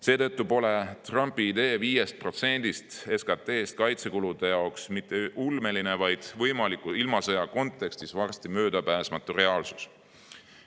Seetõttu pole Trumpi idee 5%-st SKT-st kaitsekuludeks mitte ulmeline, vaid võimaliku ilmasõja kontekstis on see varsti möödapääsmatu reaalsus.